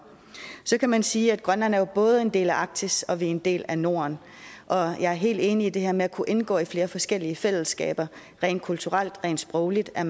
så kan man sige at grønland jo både er en del af arktis og en del af norden og jeg er helt enig i det her med at kunne indgå i flere forskellige fællesskaber rent kulturelt rent sprogligt er